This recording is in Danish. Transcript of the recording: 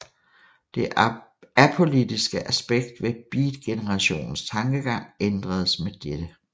Det apolitiskle aspekt ved beatgenerationens tankegang ændredes med dette